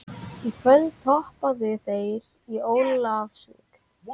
Í kvöld töpuðu þeir í Ólafsvík.